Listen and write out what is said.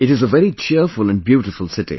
It is a very cheerful and beautiful city